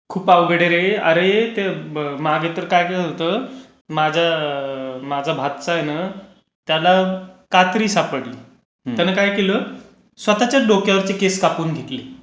खूप अवघड आहे रे. अरे ते मागे तर काय झालं होतं, माझा भाचा आहे ना त्याला न कात्री सापडली, त्याने काय केलं, स्वतःच्याच डोक्यावरती केस कापून घेतले.